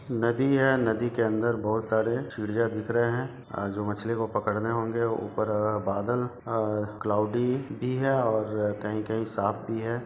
नदी है नदी के अंदर बहुत सारे चिड़िया दिख रहे है अ-जो मछली को पकड़ने होंगे ऊपर अ-बादल अ-क्लाउडी भी है और कही-कही साफ भी हैं।